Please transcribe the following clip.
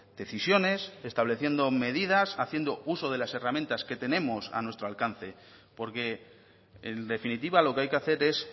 decisiones estableciendo medidas haciendo uso de las herramientas que tenemos a nuestro alcance porque en definitiva lo que hay que hacer es